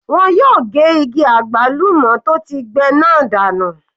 Wọ́n yóò ge igi àgbálùmọ́ tó ti gbẹ náà dànù.